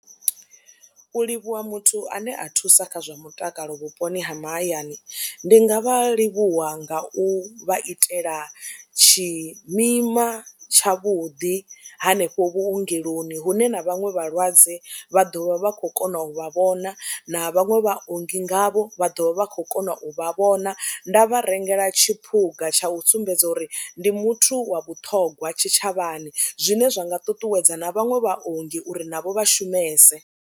U livhuwa muthu ane a thusa kha zwa mutakalo vhuponi ha mahayani ndi nga vha livhuwa nga u vha itela tshimima tshavhuḓi hanefho vhuongeloni hune na vhaṅwe vhalwadze vha ḓo vha vha kho kona u vha vhona, na vhaṅwe vhaongi ngavho vha ḓo vha vha khou kona u vha vhona. Nda vha rengela tshiphuga tsha u sumbedza uri ndi muthu wa vhuṱhongwa tshitshavhani zwine zwa nga ṱuṱuwedza na vhaṅwe vhaongi uri navho vha shumese.